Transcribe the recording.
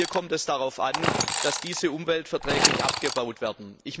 Hier kommt es darauf an, dass diese umweltverträglich abgebaut werden.